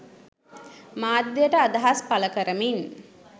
මාධ්‍යයට අදහස් පළ කරමින්